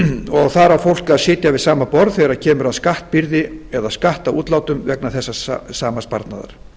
og þar á fólk að sitja við sama borð þegar kemur að skattbyrði að skattútlátum vegna þessa sama sparnaðar